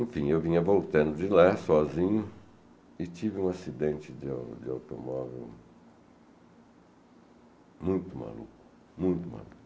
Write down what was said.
Enfim, eu vinha voltando de lá sozinho e tive um acidente de de automóvel muito maluco, muito maluco.